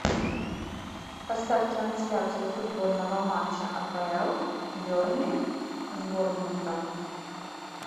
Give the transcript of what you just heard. поставь трансляцию футбольного матча апл бернли с борнмутом